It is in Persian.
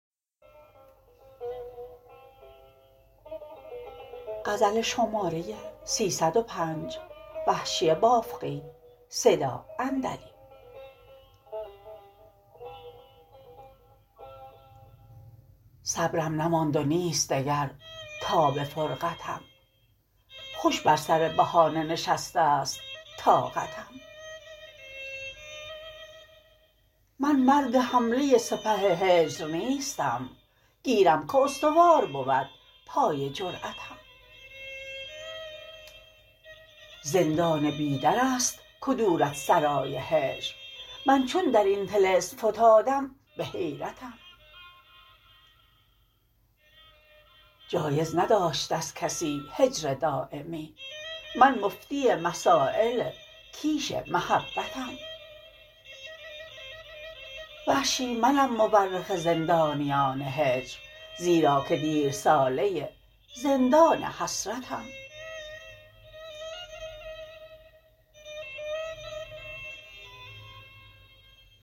صبرم نماند و نیست دگر تاب فرقتم خوش بر سر بهانه نشسته ست طاقتم من مرد حمله سپه هجر نیستم گیرم که استوار بود پای جرأتم زندان بی در است کدورتسرای هجر من چون در این طلسم فتادم به حیرتم جایز نداشته ست کسی هجر دایمی من مفتی مسایل کیش محبتم وحشی منم مورخ زندانیان هجر زیرا که دیر ساله زندان حسرتم